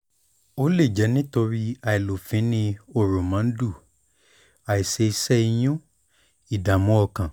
ó lè jẹ́ nítorí àìlófínní hórómóńdù àìṣe iṣẹ́ ìyún ìdààmú ọkàn